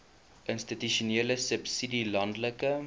institusionele subsidie landelike